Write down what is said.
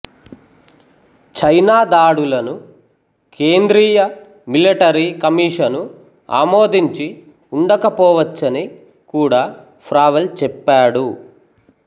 China దాడులను కేంద్రీయ military commission ఆమోదించి ఉండకపోవచ్చని కూడా ఫ్రావెల్ చెప్పాడు